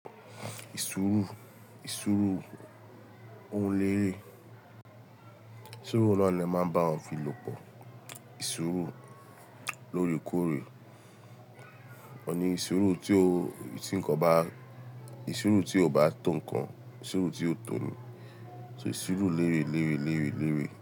Suru, ìsúru o léèrè, súru na ni ẹ máa ń bá won fi lòpọ̀, ìsúru lórèkórè, ọ̀ní súru tí nǹkan bá, ìsúru tí kò bá tò nǹkan, ìsúru tí ó tò ni, so ìsúru léèrè, léèrè, léèrè, léèrè.